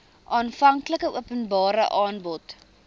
aanvanklike openbare aanbod